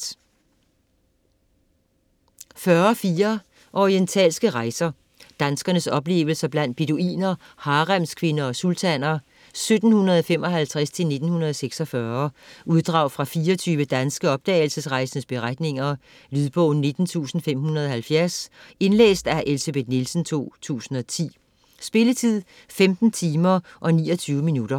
40.4 Orientalske rejser: danskeres oplevelser blandt beduiner, haremskvinder og sultaner 1755-1946 Uddrag fra 24 danske oplevelsesrejsendes beretninger. Lydbog 19570 Indlæst af Elsebeth Nielsen, 2010. Spilletid: 15 timer, 29 minutter.